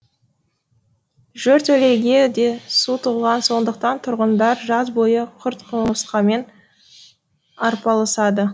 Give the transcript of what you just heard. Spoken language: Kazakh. жертөлеге де су толған сондықтан тұрғындар жаз бойы құрт құмырсқамен арпалысады